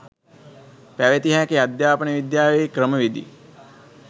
පැවතිය හැකි අධ්‍යාපන විද්‍යාවේ ක්‍රම විධි